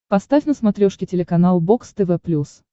поставь на смотрешке телеканал бокс тв плюс